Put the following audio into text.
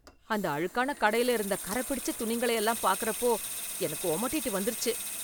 அந்த அழுக்கான கடையில இருந்த கறப் பிடிச்ச துணிங்களை எல்லாம் பாக்கறப்போ எனக்கு ஒமட்டிட்டு வந்துருச்சு